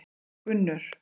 Gunnur